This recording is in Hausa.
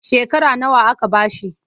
Shekara nawa aka ba shi?